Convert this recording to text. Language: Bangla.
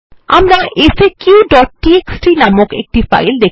আমরা একটি ফাইল যার নাম faqটিএক্সটি প্রেজেন্ট